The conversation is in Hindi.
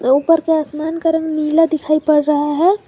ऊपर के आसमान का रंग नीला दिखाई पड़ रहा है।